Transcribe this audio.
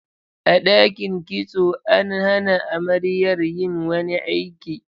A ɗakin kitso, an hana amaryar yin wani aiki.